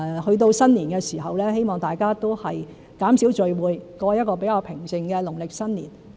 去到新年時，希望大家都能減少聚會，過一個比較平靜的農曆新年。